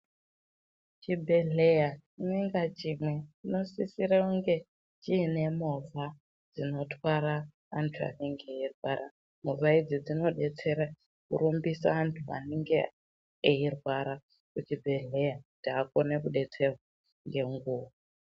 Chibhedhleya chimwe ngachimwe chinosisira kunge chine movha inotwara anthu anenge eirwara movha idzi dzinodetsera kurumbisa anthu anenge eirwara kuchibhedhleya kuti akone kudetserwa ngenguwa.